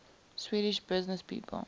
swedish businesspeople